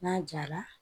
N'a jara